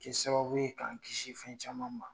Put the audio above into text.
Kɛ sababu ye k'an kisi fɛn caman ma.